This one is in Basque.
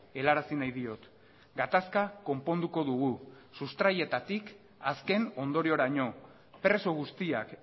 helarazi nahi diot gatazka konponduko dugu sustraietatik azken ondorioraino preso guztiak